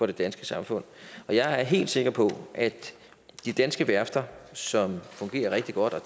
det danske samfund jeg er helt sikker på at de danske værfter som fungerer rigtig godt og